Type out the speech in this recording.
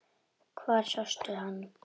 Hvar sástu hann?